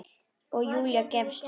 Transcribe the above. Og Júlía gefst upp.